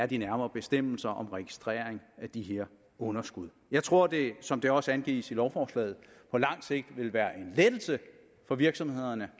de nærmere bestemmelser om registreringen af de her underskud jeg tror at det som det også angives i lovforslaget på lang sigt vil være en lettelse for virksomhederne